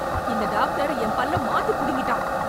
இந்த டாக்டர் என் பல்ல மாத்தி புடுங்கிட்டான்